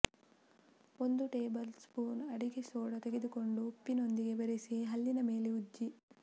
ಒಂದು tablespoon ಅಡಿಗೆ soda ತೆಗೆದುಕೊಂಡು ಉಪ್ಪಿನೊಂದಿಗೆ ಬೆರೆಸಿ ಹಲ್ಲಿನ ಮೇಲೆ ಉಜ್ಜಿ